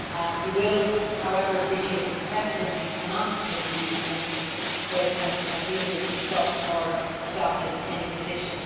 You will however appreciate that the Presidency cannot take a view on issues where the Council has neither discussed nor adopted any position.